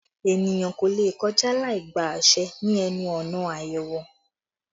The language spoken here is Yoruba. Èniyàn kò lè kọjá láì gba àṣẹ ni ẹnu ọ̀nà ayẹwo